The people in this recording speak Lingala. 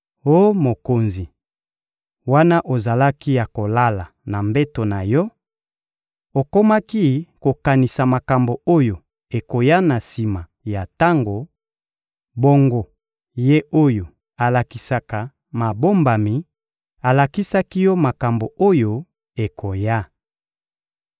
«Oh mokonzi, wana ozalaki ya kolala na mbeto na yo, okomaki kokanisa makambo oyo ekoya na sima ya tango; bongo, Ye oyo alakisaka mabombami alakisaki yo makambo oyo ekoya.